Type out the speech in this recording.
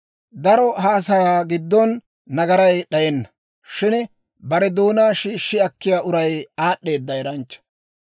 Daro haasayaa giddon nagaray d'ayenna; shin bare doonaa shiishshi akkiyaa uray aad'd'eeda eranchcha.